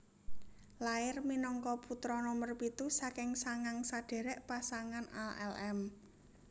Lair minangka putra nomer pitu saking sangang sadherek pasangan alm